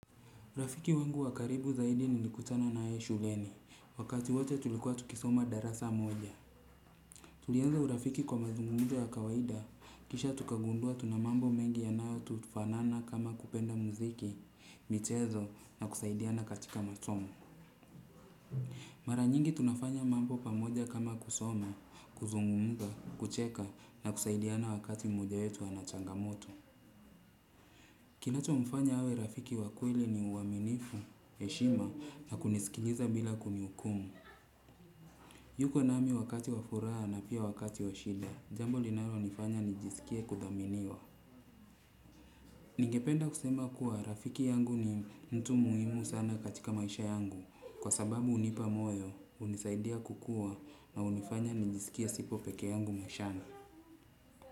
Rafiki wangu wa karibu zaidi nilikutana na yeye shuleni. Wakati wote tulikuwa tukisoma darasa moja. Tulianza urafiki kwa mazungumzo ya kawaida. Kisha tukagundua tuna mambo mengi yanayotufanana kama kupenda muziki, michezo na kusaidiana katika masomo. Mara nyingi tunafanya mambo pamoja kama kusoma, kuzungumza, kucheka na kusaidiana wakati mmoja wetu ana changamoto. Kinachomfanya awe rafiki wa kweli ni uaminifu, heshima na kunisikiliza bila kunihukumu. Yuko nami wakati wa furaha na pia wakati washida, jambo linalonifanya nijisikie kudhaminiwa. Ningependa kusema kuwa rafiki yangu ni mtu muhimu sana katika maisha yangu kwa sababu hunipa moyo, hunisaidia kukua na hunifanya nijisikie sipo peke yangu maishani.